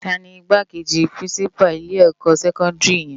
Táni Igbákéji pirinsipá ni ilé èkò sèkòndiri yèn?